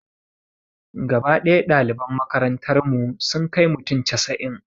Gaba ɗaya ɗaliban makarantar mu sun kai mutum casa'in